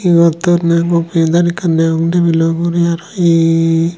ebot donney mo printer ekkan degong tebilo ugurey aro hee.